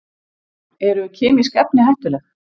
Eru kemísk efni hættuleg?